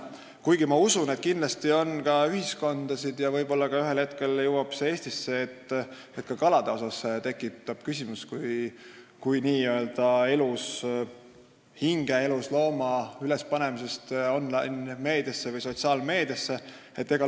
Kuigi ma usun, et kindlasti on ühiskondasid – ja võib-olla jõuab selline arusaam ühel hetkel ka Eestisse –, kus ka kalade kui elushingede kohta piltide ülespanemine online- või sotsiaalmeediasse tekitab küsimusi.